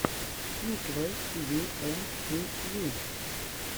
миклой тиви эм ти ви